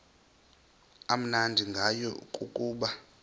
amnandi ngayo kukuba